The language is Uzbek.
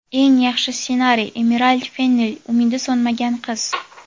Eng yaxshi ssenariy – Emirald Fennel ("Umidi so‘nmagan qiz");.